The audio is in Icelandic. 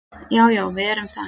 Já, já við erum það.